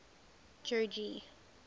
jogee